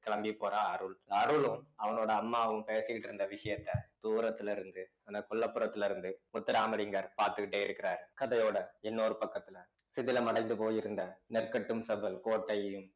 கிளம்பி போறா அருள் அருளும் அவனோட அம்மாவும் பேசிக்கிட்டு இருந்த விஷயத்த தூரத்துல இருந்து அந்த கொல்லைப்புறத்துல இருந்து முத்துராமலிங்கர் பார்த்துக்கிட்டே இருக்கிறார் கதையோட இன்னொரு பக்கத்துல சிதிலமடைந்து போயிருந்த நெற்கட்டும் செவ்வல் கோட்டையையும்